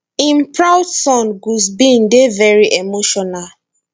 im proud son gus bin dey veri emotional